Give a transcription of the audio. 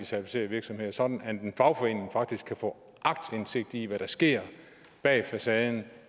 certificerede virksomheder sådan at en fagforening faktisk kan få aktindsigt i hvad der sker bag facaden